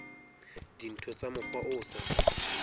dintho ka mokgwa o sa